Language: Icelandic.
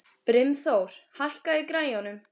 Brimþór, hækkaðu í græjunum.